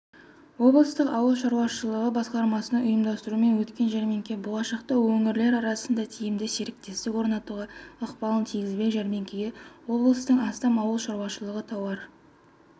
облыстық ауыл шаруашылығы басқармасының ұйымдастыруымен өткен жәрмеңке болашақта өңірлер арасында тиімді серіктестік орнатуға ықпалын тигізбек жәрмеңкеге облыстың астам ауыл шаруашылығы тауар